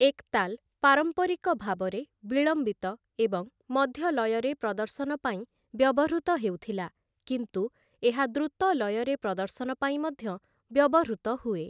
ଏକ୍‌ତାଲ୍‌ ପାରମ୍ପାରିକ ଭାବରେ ବିଳମ୍ବିତ ଏବଂ ମଧ୍ୟ ଲୟରେ ପ୍ରଦର୍ଶନ ପାଇଁ ବ୍ୟବହୃତ ହେଉଥିଲା, କିନ୍ତୁ ଏହା ଦ୍ରୁତ ଲୟରେ ପ୍ରଦର୍ଶନ ପାଇଁ ମଧ୍ୟ ବ୍ୟବହୃତ ହୁଏ ।